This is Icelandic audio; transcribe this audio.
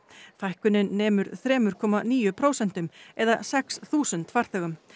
fækkunin nemur þrem komma níu prósentum eða sex þúsund farþegum